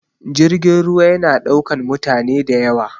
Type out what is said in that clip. Jirgin ruwa ya na ɗaukan mutane da yawa